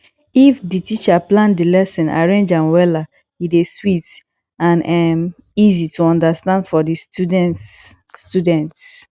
if di teacher plan di lesson arrange am wella e dey sweet and um easy to understand for di students students